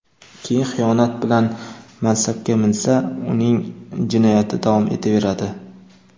keyin xiyonat bilan mansabga minsa uning jinoyati davom etaveradi.